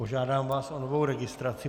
Požádám vás o novou registraci.